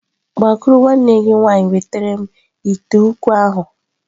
Gbakwuru nwanne gi nwaanyị wetara m ite ukwu ahu!.